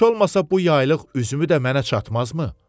Heç olmasa bu yaylıq üzümü də mənə çatmazmı?